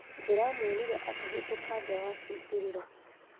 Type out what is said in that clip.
ndĩramuonira akĩhĩtũka nja wa kĩingĩrĩro